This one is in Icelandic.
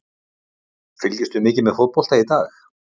Fylgist þú mikið með fótbolta í dag?